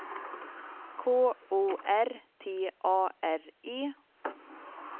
K O R T A R E